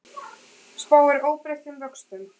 Spáir óbreyttum vöxtum